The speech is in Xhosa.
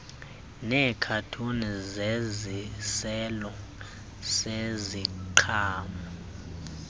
neekhathuni zesiselo seziqhamo